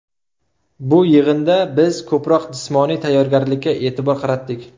Bu yig‘inda biz ko‘proq jismoniy tayyorgarlikka e’tibor qaratdik.